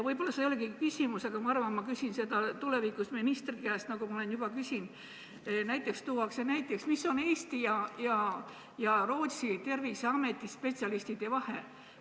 Võib-olla see ei olegi praegu mu küsimus, aga ma arvan, et küsin seda tulevikus ministri käest, nagu olen juba ka küsinud: mis on Eesti ja Rootsi terviseameti spetsialistide vahe?